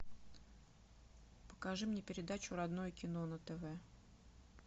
покажи мне передачу родное кино на тв